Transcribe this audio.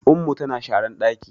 Ummu tana sharan ɗaki